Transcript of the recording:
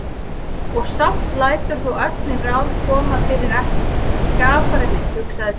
Og samt lætur þú öll mín ráð koma fyrir ekki, skapari minn, hugsaði biskup.